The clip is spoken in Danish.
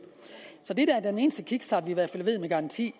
så det er fald den eneste kickstart vi med garanti